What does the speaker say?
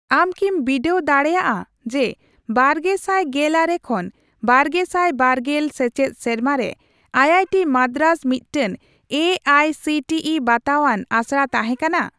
ᱟᱢ ᱠᱤᱢ ᱵᱤᱰᱟᱹᱣ ᱫᱟᱲᱮᱜᱼᱟ ᱡᱮ ᱵᱟᱨᱜᱮᱥᱟᱭ ᱜᱮᱞᱟᱨᱮ ᱠᱷᱚᱱ ᱵᱟᱨᱜᱮᱥᱟᱭ ᱵᱟᱨᱜᱮᱞ ᱥᱮᱪᱮᱫ ᱥᱮᱨᱢᱟᱨᱮ ᱟᱭᱟᱭᱴᱤ ᱢᱟᱫᱨᱟᱡ ᱢᱤᱫᱴᱟᱝ A I C T E ᱵᱟᱛᱟᱣᱟᱱ ᱟᱥᱲᱟ ᱛᱟᱦᱮᱸ ᱠᱟᱱᱟ ?